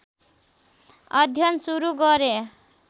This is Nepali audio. अध्ययन सुरु गरे